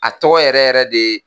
A tɔgɔ yɛrɛ yɛrɛ de ye